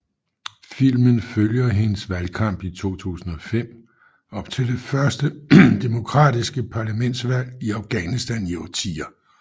Filmen følger hendes valgkamp i 2005 op til det første demokratiske parlamentsvalg i Afghanistan i årtier